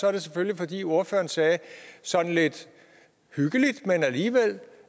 er det selvfølgelig fordi ordføreren sagde sådan lidt hyggeligt men alligevel